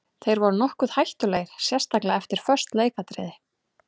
Þeir voru nokkuð hættulegir sérstaklega eftir föst leikatriði.